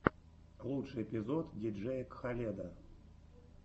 лучший эпизод диджея кхаледа